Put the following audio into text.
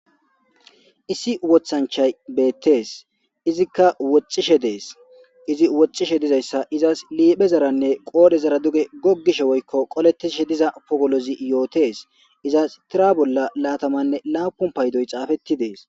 Issi woththanichayi betees.izikka woxxishshe dees.izi woxxishshe dizayissa izasi liphphezaranne qodhdhezara gogishshe woyikko qoletidhshe diza pogolozzi yotees.izas tira bolla lataamanne laapun payidoyi xaafetti dees.